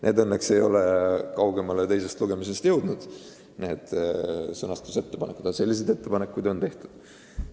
Need sõnastusettepanekud õnneks ei ole teisest lugemisest kaugemale jõudnud, aga selliseid ettepanekuid on tehtud.